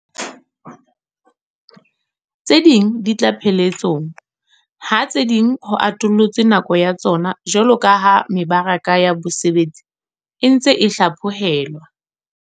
Tse ding jwale di tla pheletsong, ha tse ding ho atollotswe nako ya tsona jwaloka ha mebaraka ya bosebetsi e ntse e hlapho helwa.